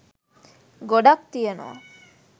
ගොඩක් තියෙනවා